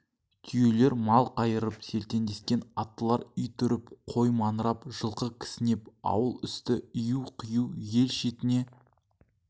түйелер мал қайырып селтеңдескен аттылар ит үріп қой маңырап жылқы кісінеп ауыл үсті ию-қию ел шетіне